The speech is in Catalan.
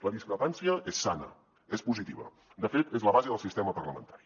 la discrepància és sana és positiva de fet és la base del sistema parlamentari